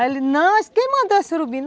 Aí ele, não, quem mandou o surubim?